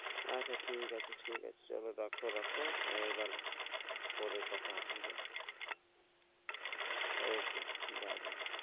আচ্ছা ঠিক আছে ঠিক আছে চলো রাখো রাখো এবার পরে কথা হবে। okay bye bye